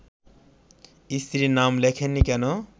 স্ত্রীর নাম লেখেননি কেন